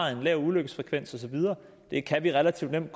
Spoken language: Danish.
er en lav ulykkesfrekvens og så videre det kan vi relativt nemt